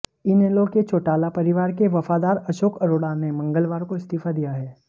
इनेलो के चौटाला परिवार के वफादार अशोक अरोड़ा ने मंगलवार को इस्तीफा दिया है